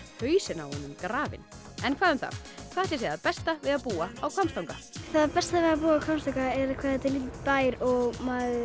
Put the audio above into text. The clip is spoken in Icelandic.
hausinn á honum grafinn en hvað um það hvað ætli sé það besta við að búa á Hvammstanga það besta við að búa á Hvammstanga er hvað þetta er lítill bær og maður